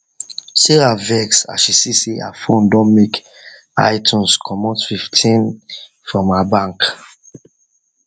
sarah vex as she see say her phone don make itunes comot fifteen from her bank